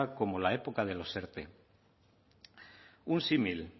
como la época de los erte un símil